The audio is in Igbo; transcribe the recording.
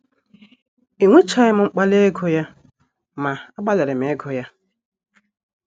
enwechaghị m mkpali ịgụ ya, ma agbalịrị m ịgụ ya.